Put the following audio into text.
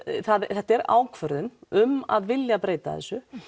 þetta er ákvörðun um að vilja breyta þessu